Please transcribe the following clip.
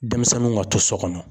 Denmisɛnnu ka to so kɔnɔ